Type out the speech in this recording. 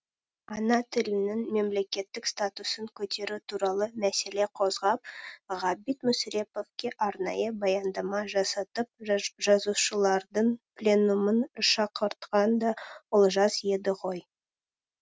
ана тілінің мемлекеттік статусын көтеру туралы мәселе қозғап ғабит мүсіреповке арнайы баяндама жасатып жазушылардың пленумын шақыртқан да олжас еді ғой